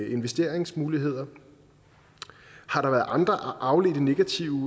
investeringsmuligheder har der været andre afledte negative